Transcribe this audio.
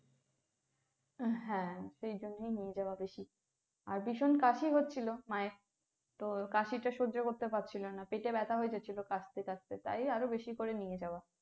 হ্যা সেই জন্যেই নিয়ে যাওয়া বেশি। আর ভীষণ কাশি হচ্ছিলো মায়ের তো কাশিটা সহ্য করতে পারছিলোনা, পেটে ব্যথা হয়ে যাচ্ছিলো কাশতে কাশতে তাই আরো বেশি করে নিয়ে যাওয়া।